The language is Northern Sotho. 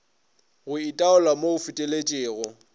go itaola mo go feteletšego